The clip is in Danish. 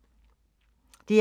DR1